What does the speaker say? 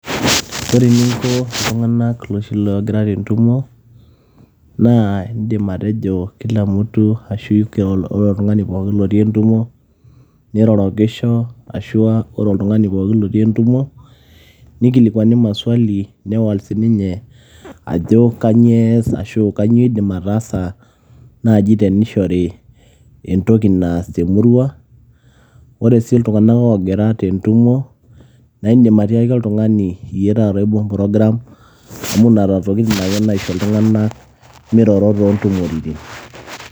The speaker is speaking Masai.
Ore eninko iltung'anak loshi logira tentumo, naa idim atejo kila mtu ashu ore oltung'ani pookin otii entumo, nirorokisho ashua ore oltung'ani pookin otii entumo, nikilikwani maswali, newol sininye ajo kanyioo ees ashu kanyioo iidim ataasa, nai tenishori entoki naas temurua. Ore si iltung'anak ogira tentumo, naidim atiaki oltung'ani iyie taata oibung' program, amu nena tokiting' ake naisho iltung'anak miroro tontumoritin.